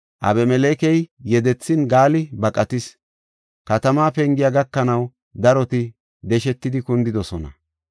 Abimelekey yedethin Gaali baqatis; katamaa pengiya gakanaw daroti deshetidi kundidosona.